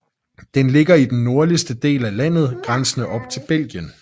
Den ligger i den nordligste del af landet grænsende op til Belgien